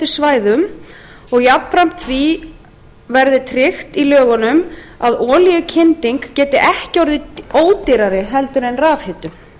svæðum og jafnframt því verði tryggt í lögunum að olíukynding geti ekki orðið ódýrari heldur en rafhitun